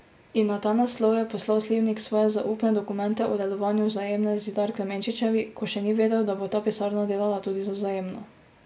In na ta naslov je poslal Slivnik svoje zaupne dokumente o delovanju Vzajemne Zidar Klemenčičevi, ko še ni vedel, da bo ta pisarna delala tudi za Vzajemno.